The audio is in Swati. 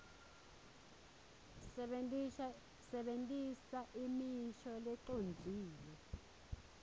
sebentisa imisho lecondzile